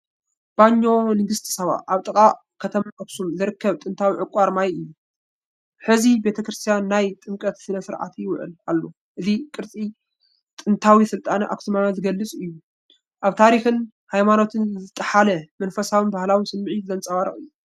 ባኞ ንግስቲ ሳባ ኣብ ጥቓ ከተማ ኣኽሱም ዝርከብ ጥንታዊ ዕቋር ማይ እዩ። ሕዚ ቤተ ክርስቲያን ናይ ጥምቀት ስነ ስርዓት ይውዕል ኣሎ። እዚ ቅርሲ ጥንታዊ ስልጣነ ኣክሱማዊ ዝገልጽ ኮይኑ፡ ኣብ ታሪኽን ይማኖትን ዝጠሓለ መንፈሳውን ባህላውን ስምዒት ዘንጸባርቕ እዩ።